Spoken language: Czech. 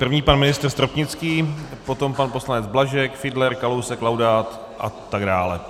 První pan ministr Stropnický, potom pan poslanec Blažek, Fiedler, Kalousek, Laudát a tak dále.